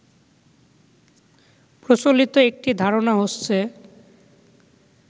প্রচলিত একটি ধারণা হচ্ছে